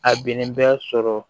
A binni bɛ sɔrɔ